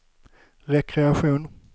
rekreation